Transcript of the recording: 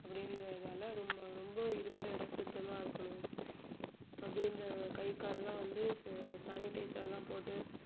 அப்படின்றதால ரொம்~ ரொம்ப இருக்கிற இடம் சுத்தமா இருக்கணும் அப்படின்றது கை கால்லாம் வந்து sa~ sanitizer லாம் போட்டு